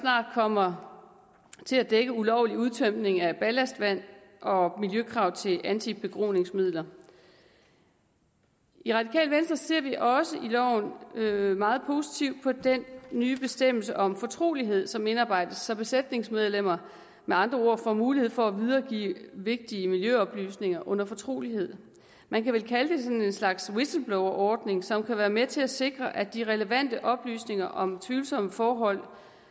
snart kommer til at dække ulovlig udtømning af ballastvand og miljøkrav til antibegroningsmidler i radikale venstre ser vi også i loven meget positivt på den nye bestemmelse om fortrolighed som indarbejdes så besætningsmedlemmer med andre ord får mulighed for at videregive vigtige miljøoplysninger under fortrolighed man kan vel kalde det slags whistleblowerordning som kan være med til at sikre at de relevante oplysninger om tvivlsomme forhold